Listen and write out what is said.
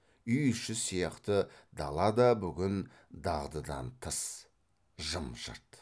үй іші сияқты дала да бүгін дағдыдан тыс жым жырт